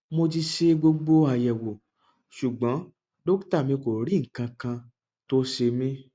mo ti ṣe gbogbo àyẹwò ṣùgbọn dókítà mi kò rí nǹkankan tó ṣe mí